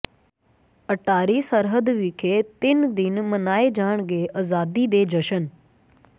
ਅਟਾਰੀ ਸਰਹੱਦ ਵਿਖੇ ਤਿੰਨ ਦਿਨ ਮਨਾਏ ਜਾਣਗੇ ਆਜ਼ਾਦੀ ਦੇ ਜਸ਼ਨ